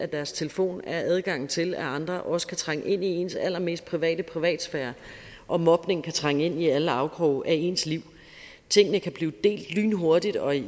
deres telefon giver adgang til at andre også kan trænge ind i ens allermest private privatsfære og mobning kan trænge ind i alle afkroge af ens liv tingene kan blive delt lynhurtigt og i